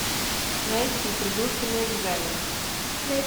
найти придурки на экзаменах